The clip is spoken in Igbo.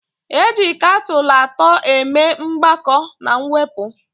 Eji kakụlatọ eme mgbakọ na mwepụ